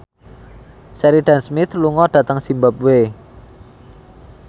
Sheridan Smith lunga dhateng zimbabwe